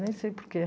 Nem sei por quê.